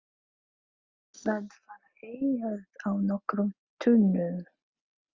Það var heyjað á nokkrum túnum.